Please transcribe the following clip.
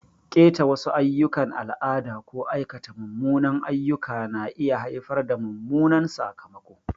Ƙeta wasu ayyukan al'ada ko aikata munanan ayyuka na iya haifar da mummunan sakamako.